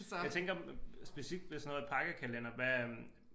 Jeg tænker specifikt med sådan noget pakkekalender hvad øh